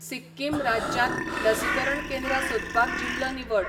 सिक्किम राज्यांत लसीकरण केंद्रां सोदपाक जिल्लो निवड